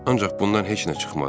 Ancaq bundan heç nə çıxmadı.